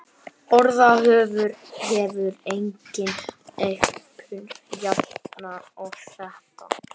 Orðaforðinn hefur einnig aukist jafnt og þétt.